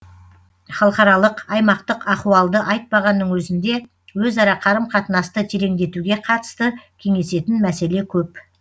халықаралық аймақтық ахуалды айтпағанның өзінде өзара қарым қатынасты тереңдетуге қатысты кеңесетін мәселе көп